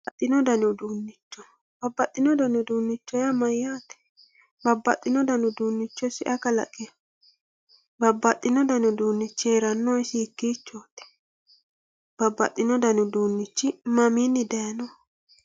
babbaxino dani uduunicho babbaxino dani uduunicho yaa mayaate babbaxino dani uduunicho isi ayi kalaqi babbaxino dani uduunichi heerannohu isi hikiichooti babbaxino dani uduunichi mamiini dayiinoho